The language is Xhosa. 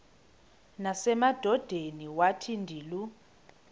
nasemadodeni wathi ndilu